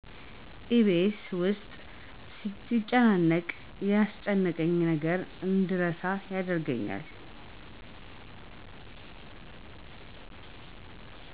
ኢቢኤስ ውስጤ ሲጨናነቅ ያስጨነቀኝን ነገር እንድረሳ ያደርገኛል።